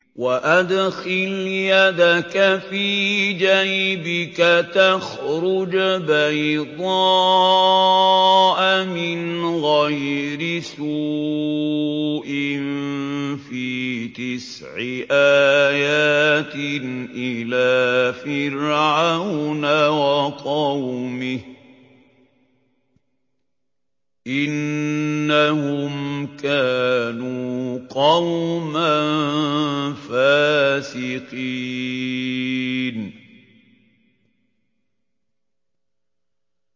وَأَدْخِلْ يَدَكَ فِي جَيْبِكَ تَخْرُجْ بَيْضَاءَ مِنْ غَيْرِ سُوءٍ ۖ فِي تِسْعِ آيَاتٍ إِلَىٰ فِرْعَوْنَ وَقَوْمِهِ ۚ إِنَّهُمْ كَانُوا قَوْمًا فَاسِقِينَ